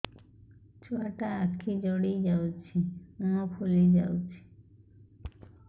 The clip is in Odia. ଛୁଆଟା ଆଖି ଜଡ଼ି ଯାଉଛି ମୁହଁ ଫୁଲି ଯାଉଛି